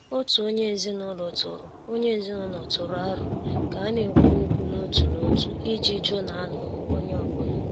Òtù onye ezinụlọ tụrụ onye ezinụlọ tụrụ aro ka a na-ekwu okwu n' òtù n'òtu iji jụ na a nụrụ onye ọ́bụ̀la.